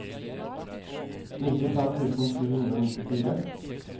nittifem tusen sju hundre og nittifire